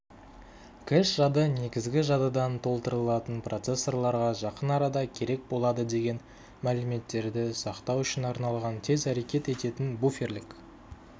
кэш-жады негізгі жадыдан толтырылатын процессорларға жақын арада керек болады деген мәліметтерді сақтау үшін арналған тез әрекет ететін буферлік